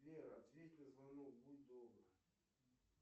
сбер ответь на звонок будь добр